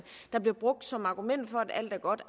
der blev brugt som argument for at alt er godt